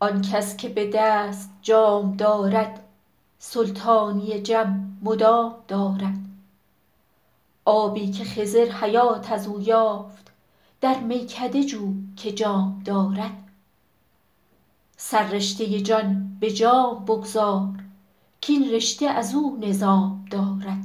آن کس که به دست جام دارد سلطانی جم مدام دارد آبی که خضر حیات از او یافت در میکده جو که جام دارد سررشته جان به جام بگذار کاین رشته از او نظام دارد